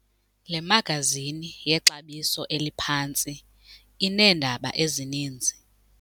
Le magazini yexabiso eliphantsi ineendaba ezininzi.